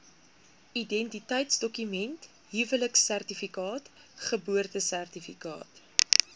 identiteitsdokument huweliksertifikaat geboortesertifikaat